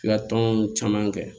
I ka tɔn caman kɛ